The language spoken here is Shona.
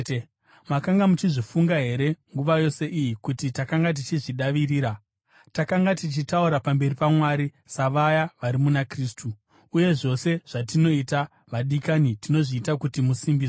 Makanga muchizvifunga here nguva yose iyi kuti takanga tichizvidavirira? Takanga tichitaura pamberi paMwari savaya vari muna Kristu; uye zvose zvatinoita, vadikani, tinozviita kuti musimbiswe.